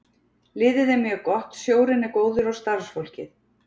Liðið er mjög gott, stjórinn er góður og starfsfólkið.